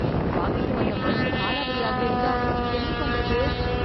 வாங்கிட்டு வந்த மருந்து காலாவதி ஆகி இருந்தா என்ன பண்றது.